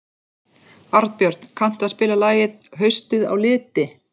Arnbjörn, kanntu að spila lagið „Haustið á liti“?